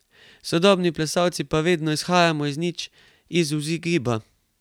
Sodobni plesalci pa vedno izhajamo iz nič, iz vzgiba.